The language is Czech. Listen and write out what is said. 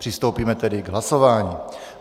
Přistoupíme tedy k hlasování.